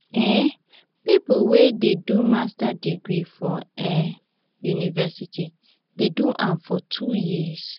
um pipo wey dey do master degree for um university dey do am for two years.